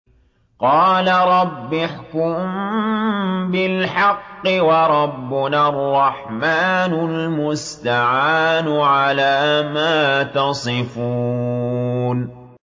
قَالَ رَبِّ احْكُم بِالْحَقِّ ۗ وَرَبُّنَا الرَّحْمَٰنُ الْمُسْتَعَانُ عَلَىٰ مَا تَصِفُونَ